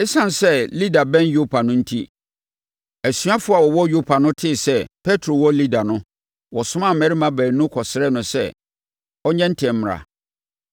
Esiane sɛ Lida bɛn Yopa no enti, asuafoɔ a wɔwɔ Yopa no tee sɛ Petro wɔ Lida no, wɔsomaa mmarima baanu kɔsrɛɛ no sɛ ɔnyɛ ntɛm mmra.